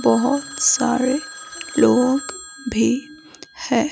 बहुत सारे लोग भी है।